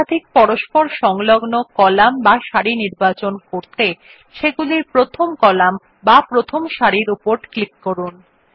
একাধিক পরস্পর সংলগ্ন কলাম বা সারি নির্বাচন করতে সেগুলির প্রথম কলাম বা প্রথম সারির উপর ক্লিক করুন